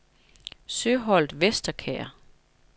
Søholt Vesterkær